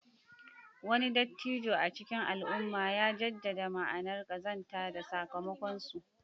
Wani dattijo a cikin al'umma ya jaddada ma'anar ƙazanta da sakamakonsu.